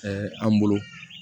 an bolo